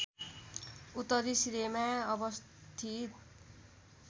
उत्तरी सिरेमा अवस्थित